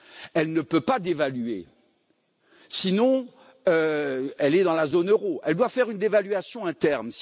Elle ne peut pas dévaluer, sinon elle est dans la zone Euro elle doit faire une dévaluation interne.